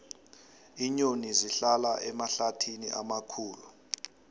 iinyoni zihlala emahlathini amakhulu